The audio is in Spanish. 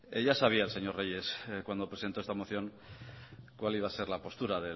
ya sabía el señor reyes cuando presentó esta moción cuál iba a ser la postura